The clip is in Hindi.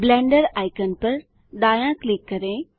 ब्लेंडर आइकन पर दायाँ क्लिक करें